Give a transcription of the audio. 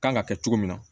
Kan ka kɛ cogo min na